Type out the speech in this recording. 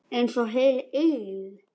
Einsog heil eilífð.